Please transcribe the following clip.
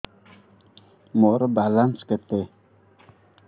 ମୋର ବାଲାନ୍ସ କେତେ